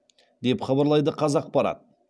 деп хабарлайды қазақпарат